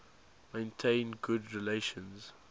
maintained good relations